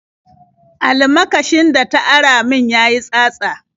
Almakashin da ta ara min ya yi tsatsa.